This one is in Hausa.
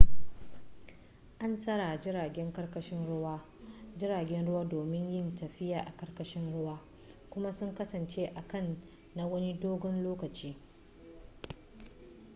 an tsara jiragen ƙarkashin ruwa jiragen ruwa domin yin tafiya a ƙarkashin ruwa kuma su kasance a can na wani dogon lokaci